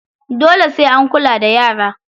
Dole sai an kula da yara.